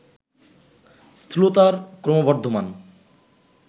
স্থূলতার ক্রমবর্ধ্বমান